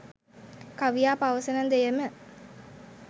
කවියා පවසන දෙයම